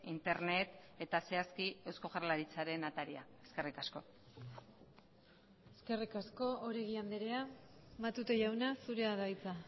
internet eta zehazki eusko jaurlaritzaren ataria eskerrik asko eskerrik asko oregi andrea matute jauna zurea da hitza